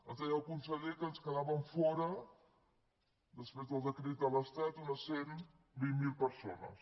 ens deia el conseller que en quedaven fora després del decret de l’estat unes cent i vint miler persones